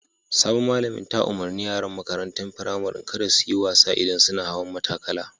Sabon malamin ta umarni yaran makarantan firamarin kada su yi wasa idan sunna hawan matakala.